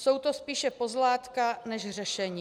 Jsou to spíše pozlátka než řešení.